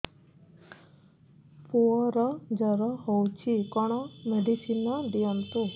ପୁଅର ଜର ହଉଛି କଣ ମେଡିସିନ ଦିଅନ୍ତୁ